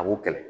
A b'o kɛlɛ